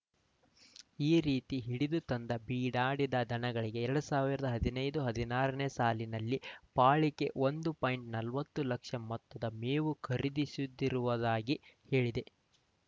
ಈ ರೀತಿ ಹಿಡಿದು ತಂದ ಬೀಡಾಡಿ ದನಗಳಿಗೆ ಎರಡ್ ಸಾವಿರದ ಹದಿನೈದು ಹದಿನಾರನೇ ಸಾಲಿನಲ್ಲಿ ಪಾಳಿಕೆ ಒಂದು ಪಾಯಿಂಟ್ ನಲವತ್ತು ಲಕ್ಷ ಮೊತ್ತದ ಮೇವು ಖರೀದಿಸಿರುವುದಾಗಿ ಹೇಳಿದೆ